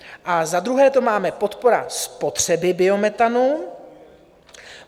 A za druhé to máme - podpora spotřeby biometanu.